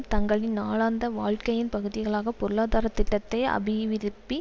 தங்களின் நாளாந்த வாழ்க்கையின் பகுதியாக பொருளாதார திட்டத்தை அபிவிருப்பி